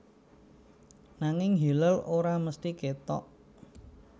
Nanging hilal ora mesthi kétok